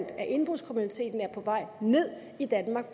at indbrudskriminaliteten er på vej ned i danmark